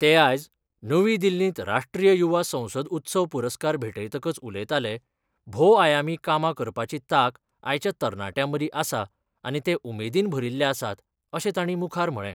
ते आयज नवी दिल्लींत राष्ट्रीय युवा संसद उत्सव पुरस्कार भेटयतकच उलयताले भोवआयामी कामां करपाची ताक आयच्या तरणाट्यां मदीं आसा आनी ते उमेदीन भरिल्ले आसात अशें तांणी मुखार म्हळें.